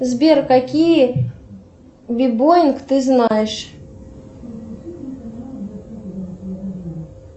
сбер какие бибоинг ты знаешь